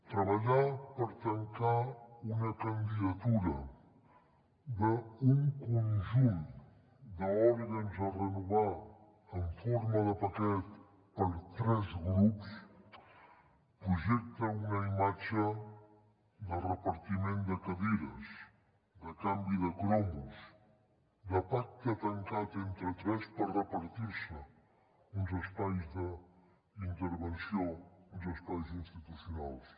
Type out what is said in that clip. treballar per tancar una candidatura d’un conjunt d’òrgans a renovar en forma de paquet per tres grups projecta una imatge de repartiment de cadires de canvi de cromos de pacte tancat entre tres per repartir se uns espais d’intervenció uns espais institucionals